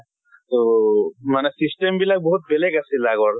তʼ মানে system বিলাক বহুত বেলেগ আছিলে আগৰ।